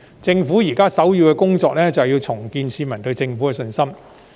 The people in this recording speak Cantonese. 政府現時首要的工作是重建市民對政府的信心。